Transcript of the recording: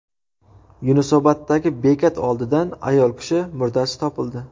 Yunusoboddagi bekat oldidan ayol kishi murdasi topildi.